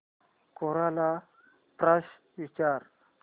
कोरा ला प्रश्न विचार